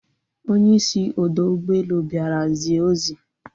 Onye isi ọdọ ụgbọelu bịara zie ozi